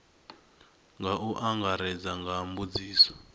nga u angaredza nga mbudziso